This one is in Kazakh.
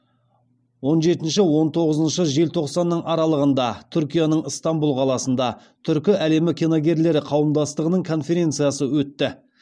он жетінші он тоғызыншы желтоқсанның аралығында түркияның ыстанбұл қаласында түркі әлімі киногерлері қауымдастығының конференциясы өтті